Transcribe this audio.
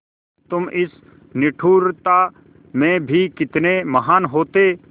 तुम इस निष्ठुरता में भी कितने महान् होते